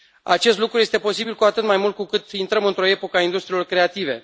Acest lucru este posibil cu atât mai mult cu cât intrăm într o epocă a industriilor creative.